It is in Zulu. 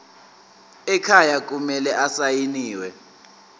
ekhaya kumele asayiniwe